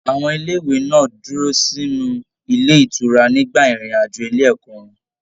Àwọn ilé ìwé náà dúró sínú ilé ìtura nígbà irin-ajo ile ẹkọ wọn.